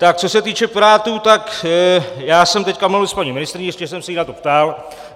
Tak co se týče Pirátů, tak já jsem teď mluvil s paní ministryní, ještě jsem se jí na to ptal.